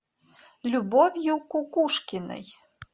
любовью кукушкиной